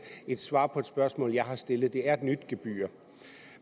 et svar på et spørgsmål jeg har stillet det er et nyt gebyr